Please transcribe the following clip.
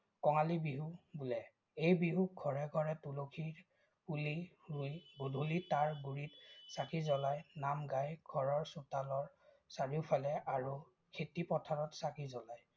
কঙালী বিহু বোলে। এই বিহুত ঘৰে ঘৰে তুলসী পুলি ৰুই গধুলি তাৰ গুৰিত চাকি জ্বলায়, নাম গাই ঘৰৰ চোতালৰ চাৰিওফালে আৰু খেতিপথাৰত চাকি জ্বলায়।